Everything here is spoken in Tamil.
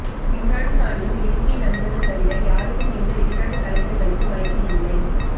இம்ரான் கானின் நெருங்கிய நண்பர்கள் தவிர யாருக்கும் எந்த வெளிநாட்டுத் தலைவர்களுக்கும் அழைப்பு இல்லை